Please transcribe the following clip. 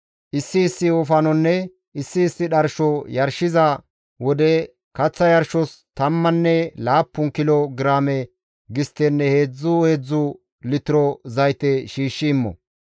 Issi issi wofanonne issi issi dharsho yarshiza wode, kaththa yarshos tammanne laappun kilo giraame gisttenne heedzdzu heedzdzu litiro zayte shiishshi immo.